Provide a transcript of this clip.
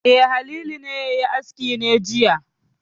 E, Halilu ne ya yi aski ne jiya.